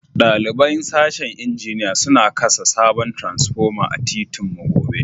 Dalibain sashen injiniya suna kasa sabon transpoma a'titin mu gobe.